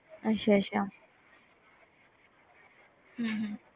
ਅੱਛਾ ਅੱਛਾ